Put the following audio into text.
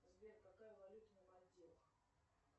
сбер какая валюта на мальдивах